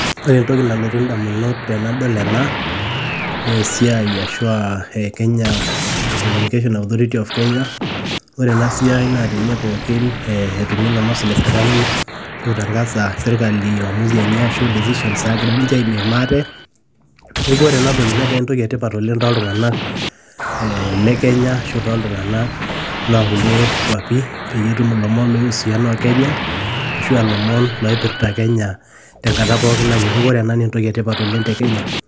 Ore entoki nalotu indamunot tanadol ena, naa esiaai ashu e Kenya e communication authorithy of Kenya. Ore ena siaii naa te ne pooki etumieki ilomon le serkali, ashu eitangasa serkari uamuzi enye ashu decisions nagira ninche aimim ate, neaku ore ena toki netaa entoki etipat oleng' toltung'ana le Kenya ashu lo nkulie kwapi peyie etum ilomon ohusiana o Kenya ashu a lomon loipirta Kenya te nkata pooki nayieu. Neaku ore ena naa entoki etipat oleng' te Kenya.